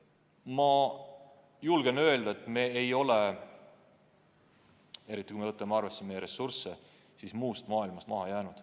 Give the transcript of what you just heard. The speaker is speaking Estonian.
Ma julgen öelda, et me ei ole, eriti kui me võtame arvesse meie ressursse, muust maailmast maha jäänud.